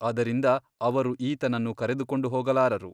ಅದರಿಂದ ಅವರು ಈತನನ್ನು ಕರೆದುಕೊಂಡು ಹೋಗಲಾರರು.